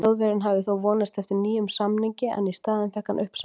Þjóðverjinn hafði þó vonast eftir nýjum samningi en í staðinn fékk hann uppsagnarbréf.